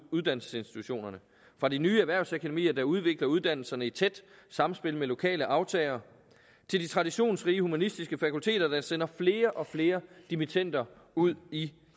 uddannelsesinstitutionerne fra de nye erhvervsakademier der udvikler uddannelserne i tæt samspil med lokale aftagere til de traditionsrige humanistiske fakulteter der sender flere og flere dimittender ud i